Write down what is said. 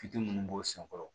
Fitiri minnu b'o senkɔrɔ